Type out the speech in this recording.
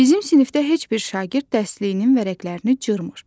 Bizim sinifdə heç bir şagird dərsliyinin vərəqlərini cırmır.